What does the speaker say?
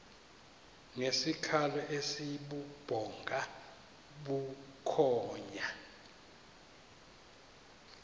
ngesikhalo esibubhonga bukhonya